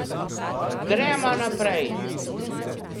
Gremo naprej!